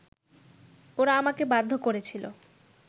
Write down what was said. ওরা আমাকে বাধ্য করেছিলো